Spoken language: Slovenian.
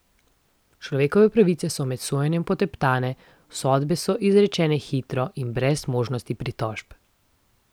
Človekove pravice so med sojenjem poteptane, sodbe so izrečene hitro in brez možnosti pritožb.